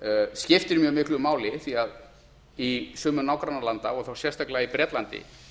skiptir mjög miklu máli því að í sumum nágrannalanda og þá sérstaklega í bretlandi